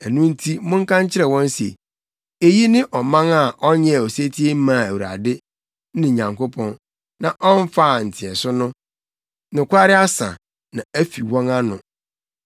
Ɛno nti monka nkyerɛ wɔn se, ‘Eyi ne ɔman a ɔnyɛɛ osetie mmaa Awurade, ne Nyankopɔn, na ɔmfaa nteɛso no. Nokware asa, na afi wɔn ano.